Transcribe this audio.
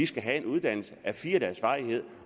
skal have en uddannelse af fire dages varighed